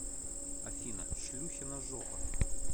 афина шлюхина жопа